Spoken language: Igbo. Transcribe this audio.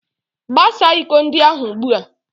Gaa saa iko ndị ahụ ugbu a!